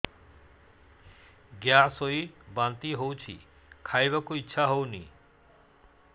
gas ହୋଇ ବାନ୍ତି ହଉଛି ଖାଇବାକୁ ଇଚ୍ଛା ହଉନି